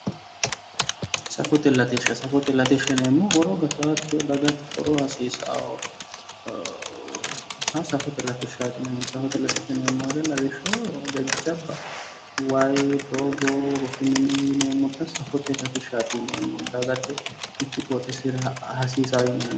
Safote latishsha, safote latishsha yinneemmohu horo gattanokkiho dagate horo hasiisanoho ,xa safote latishshati yinneemmo woyte lawishshaho jajjabba waayi ,doogo rosu mine yinneemmotta safote latishshati yinneemmo ,dagate mitu qoxxeesira hasiisano yinneemmoho